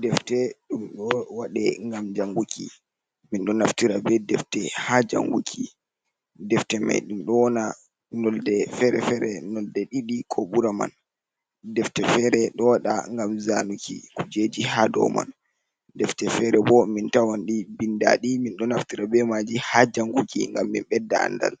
Defte ɗuum ɗo waɗe ngvam janguki min ɗo naftira be defte ha janguki, defte mai ɗum ɗo wana nonde fere-fere nonɗe ɗiɗii ko ɓura man defte fere ɗo waɗa ngam zanuki kujeji ha do man defte fere ɓo min tawanɗi mbindaaɗi, min ɗo naftira ɓe maji ha janguki ngam min ɓedda andal